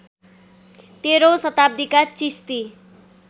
१३ औँ शताब्दीका चिस्ती